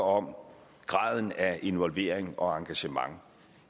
om graden af involvering og engagement